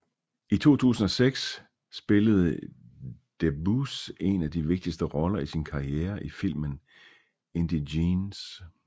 I 2006 spillede Debbouze en af de vigtigste roller i sin karriere i filmen Indigènes